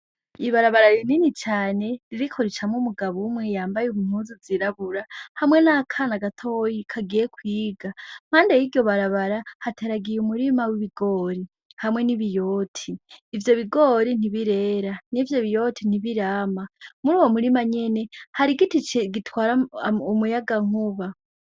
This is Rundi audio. Ibarabara rinini cane ibiko ricamwe umugabo umwe yambaye umuzu zirabura hamwe n'akana gatoyi kagiye kwiga mpande y'iryo barabara hataragiye umurima w'ibigori hamwe n'i biyoti ivyo bigori ntibirera ni vyo biyoti ntibirama muri uwo murima nyene harigitice gitwaramome umuyaga nkuba.